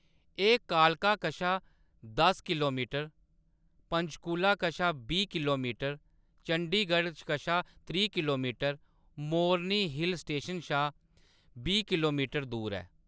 एह्‌‌ कालका कशा दस किलोमीटर, पंचकूला कशा बीह् किलोमीटर, चंडीगढ़ कशा त्रीह् किलोमीटर, मोरनी हिल स्टेशन शा बीह् किलोमीटर दूर ऐ।